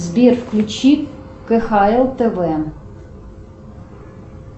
сбер включи кхл тв